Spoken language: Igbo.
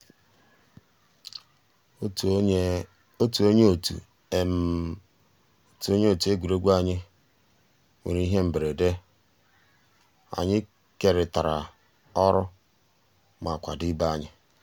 ótú ónyé ótú ótú ónyé ótú égwurégwu ànyị́ nwèrè íhé mbérèdé ànyị́ kérị́tárá ọ́rụ́ má kwàdó ìbé ànyị́.